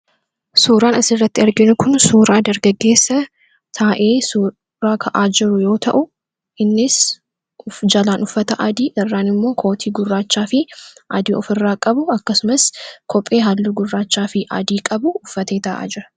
suuraan as irratti arginu kun suuraa dargageessa taa’ee suuraa kaajiru yoo ta'u innis jalaan uffata adii irraan immoo kootii gurraachaa fi adii of irraa qabu akkasumas kophee halluu gurraachaa fi adii qabu uffatee taa'aa jirudha